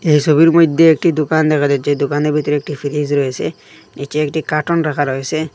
এইসবের মইধ্যে একটি দুকান দেখা যাচ্ছে দোকানের বিতরে একটি ফ্রিজ রয়েসে নীচে একটি কাটুন রাখা রয়েসে।